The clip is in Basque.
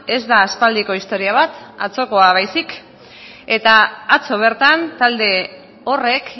ez da aspaldiko historia bat atzokoa baizik eta atzo bertan talde horrek